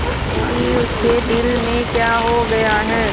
कि उसके दिल में क्या हो गया है